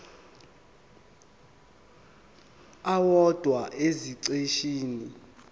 owodwa esiqeshini b